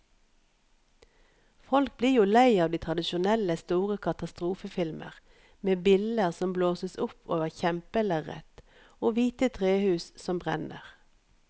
Folk blir jo lei av de tradisjonelle store katastrofefilmer med biller som blåses opp over kjempelerret og hvite trehus som brenner.